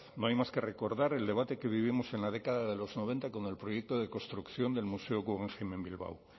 no hay más que recordar el debate que vivimos en la década de los noventa con el proyecto de construcción del museo guggenheim en bilbao